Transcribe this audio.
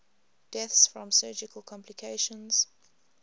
deaths from surgical complications